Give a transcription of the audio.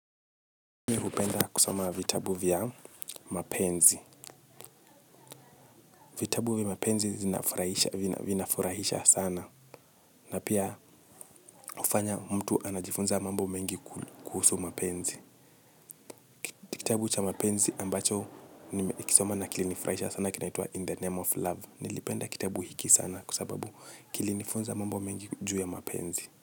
Na kusoma vitabu vya mapenzi. Vitabu vya mapenzi vinafurahisha sana. Na pia hufanya mtu anajifunza mambo mengi kuhusu mapenzi. Kitabu cha mapenzi ambacho nimekisoma na kilinifurahisha sana kinaitwaa In the Name of Love. Nilipenda kitabu hiki sana kwa sababu kilinifunza mambo mengi juu ya mapenzi.